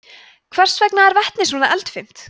hvers vegna er vetni svona eldfimt